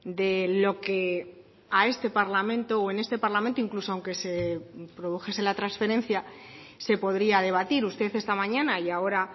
de lo que a este parlamento o en este parlamento incluso aunque se produjese la transferencia se podría debatir usted esta mañana y ahora